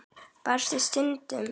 Versta stundin?